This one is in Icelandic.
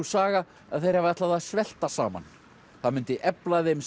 saga að þeir hafi ætlað að svelta saman það myndi efla þeim